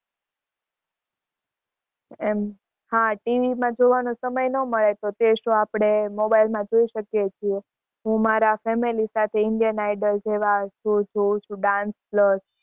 એમ હાં TV માં જોવાનો સમય ના મળે તો તે show આપણે mobile માં જોઈ શકીએ છીએ. હું મારા family સાથે indian idol જેવા show જોવું છુ dance plus